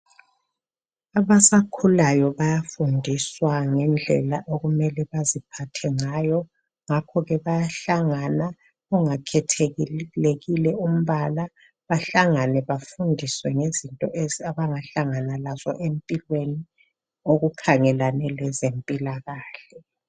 Abasakhulayo bayafundiswa ngendlela okumele baziphathe ngayo. Ngakho ke bayahlangana, kungakhethelekile umbala, bahlangane bafundiswe ngezintu abangahlangana lazo empilweni okukhangelane lezempilakahle.